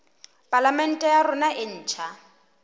palamente ya rona e ntjha